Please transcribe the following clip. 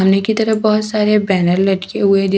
सामने की तरफ बहोत सारे बैनर लटके हुए दिख--